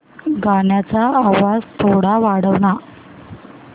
गाण्याचा थोडा आवाज वाढव ना